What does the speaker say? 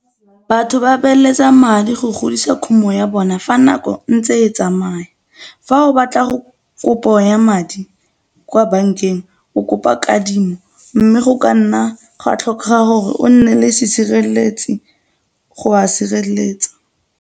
Batho ba beeletsa madi go godisa khumo ya bona fa nako e ntse e tsamaya. Fa o batla go kopo ya madi kwa bankeng o kopa kadimo mme go ka nna gwa tlhokega gore o nne le setshireletsi go a sireletsa.